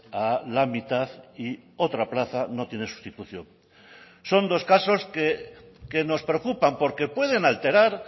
a la mitad y otra plaza no tiene sustitución son dos casos que nos preocupan porque pueden alterar